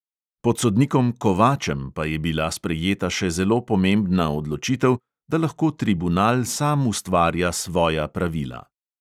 Pod sodnikom kovačem pa je bila sprejeta še zelo pomembna odločitev, da lahko tribunal sam ustvarja svoja pravila.